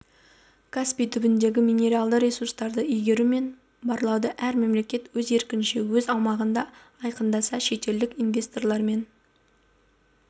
каспий түбіндегі минералды ресурстарды игеру мен барлауды әр мемлекет өз еркінше өз аумағында айқындаса шетелдік инвесторлармен